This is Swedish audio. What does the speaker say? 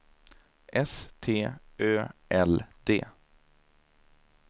S T Ö L D